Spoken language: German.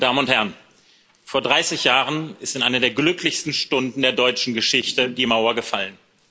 Schäuble, meine Damen und Herren! Vor 30 Jahren ist in einer der glücklichsten Stunden der deutschen Geschichte die Mauer gefallen.